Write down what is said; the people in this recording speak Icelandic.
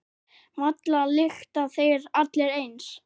Varla lykta þeir allir eins.